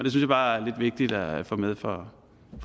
jeg bare er lidt vigtigt at få med for